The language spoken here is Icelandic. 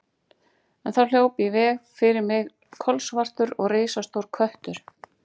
En þá hljóp í veg fyrir mig kolsvartur og risastór köttur.